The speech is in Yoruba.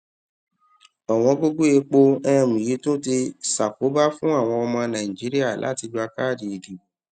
ọ̀wọ́n gogo epo um yii tun ti ṣakoba fun awọn ọmọ naijiria lati gba kaadi idibo